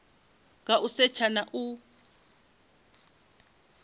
nga u setsha na u